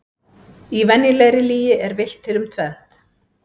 Í venjulegri lygi er villt til um tvennt.